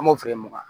An b'o f'i ye wa